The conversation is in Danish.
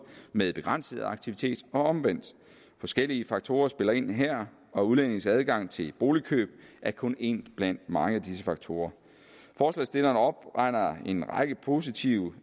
med begrænset aktivitet og omvendt forskellige faktorer spiller ind her og udlændinges adgang til boligkøb er kun en blandt mange af disse faktorer forslagsstillerne opregner en række positive